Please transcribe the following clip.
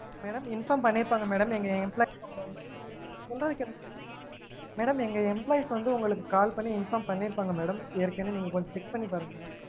madam inform பண்ணிருப்பாங்க madam எங்க employees உங்கள வந்து சொல்றத கேளுங்க madam எங்க employees வந்து உங்களுக்கு call பண்ணி inform பண்ணிருப்பாங்க madam ஏற்கனவெ நீங்க கொஞ்சம் check பன்னிருப்பாங்க madam